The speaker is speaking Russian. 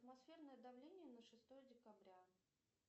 атмосферное давление на шестое декабря